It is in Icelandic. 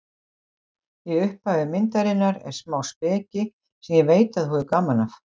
Í upphafi myndarinnar er smá speki sem ég veit að þú hefur gaman af.